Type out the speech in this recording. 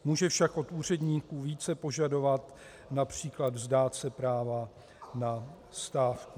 Může však od úředníků více požadovat, například vzdát se práva na stávky.